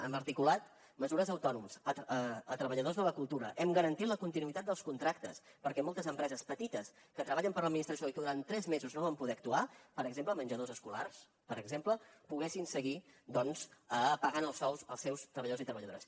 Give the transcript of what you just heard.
hem articulat mesures a autònoms a treballadors de la cultura hem garantit la continuïtat dels contractes perquè moltes empreses petites que treballen per a l’administració i que durant tres mesos no van poder actuar per exemple menjadors escolars per exemple poguessin seguir pagant els sous als seus treballadors i treballadores